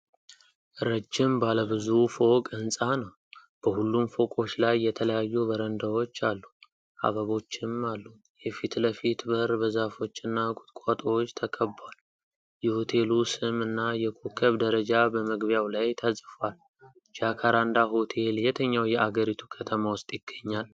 ረጅም ባለብዙ ፎቅ ህንፃ ነው። በሁሉም ፎቆች ላይ የተለያዩ በረንዳዎች አሉ፤ አበቦችም አሉ። የፊት ለፊት በር በዛፎችና ቁጥቋጦዎች ተከብቧል። የሆቴሉ ስም እና የኮከብ ደረጃ በመግቢያው ላይ ተጽፏል። ጃካራንዳ ሆቴል የትኛው የአገሪቱ ከተማ ውስጥ ይገኛል?